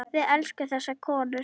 Við elskum þessar konur.